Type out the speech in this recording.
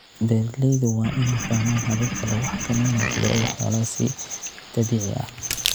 Beeralaydu waa inay fahmaan hababka lagu xakameynayo cudurrada xoolaha si dabiici ah.